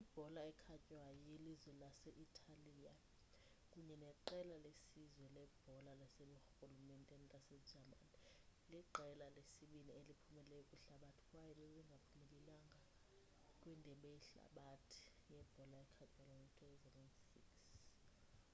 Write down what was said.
ibhola ekhatywayo yelizwe lase-italiya kunye neqela lesizwe lebhola laseburhulumenteni lasejamani liqela lesibini eliphumeleleyo kwihlabathi kwaye babengabaphumeleleyo kwindebe yehlabathi yebhola ekhatywayo ngo-2006